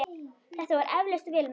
Þetta var eflaust vel meint.